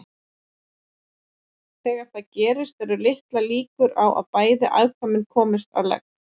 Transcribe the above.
Þegar það gerist eru litlar líkur á að bæði afkvæmin komist á legg.